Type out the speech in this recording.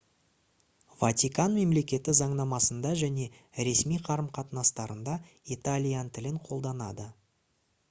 ватикан мемлекеті заңнамасында және ресми қарым-қатынастарында италиян тілін қолданады